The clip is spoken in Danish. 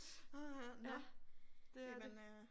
Åh ha ja det er det